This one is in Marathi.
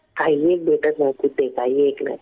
काहीएक भेटत नाही कुठे. काहीएक नाही.